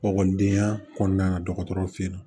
Ekɔlidenya kɔnɔna na dɔgɔtɔrɔw fɛ yen nɔ